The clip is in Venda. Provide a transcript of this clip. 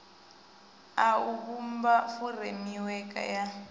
a u vhumba furemiweke ya